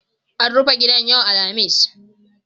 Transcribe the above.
An rufe gidan yau Alhamis.